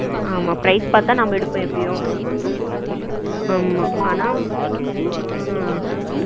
ஆமா prize பாத்து தான் நாம எடுப்போம் எப்படியும் ஆமா ஆனா ஆ